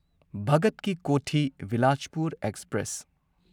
ꯚꯒꯠ ꯀꯤ ꯀꯣꯊꯤ ꯕꯤꯂꯥꯁꯄꯨꯔ ꯑꯦꯛꯁꯄ꯭ꯔꯦꯁ